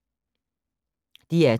DR2